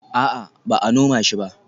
A'a, ba a noma shi ba